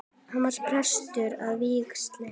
Hann var prestur að vígslu.